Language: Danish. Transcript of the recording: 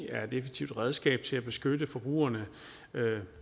er et effektivt redskab til at beskytte forbrugerne